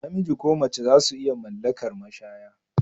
Namiji ko mace zasu iya mallakar mashaya